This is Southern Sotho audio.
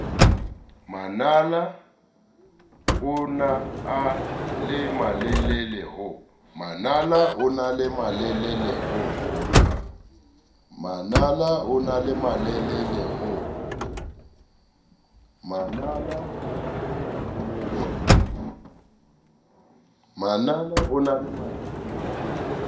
manala onaa le malelele ho